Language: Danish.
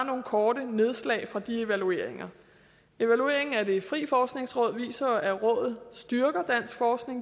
kort nogle nedslag fra de evalueringer evalueringen af det frie forskningsråd viser jo at rådet styrker dansk forskning